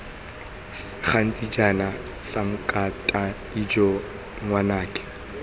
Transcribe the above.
gaketse jaana sankatane ijoo ngwanake